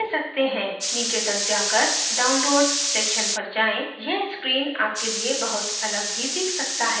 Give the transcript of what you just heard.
नीचे तक जाकर download section पर जाएँ यह screen आपके लिए बहुत अलग भी दिख सकती है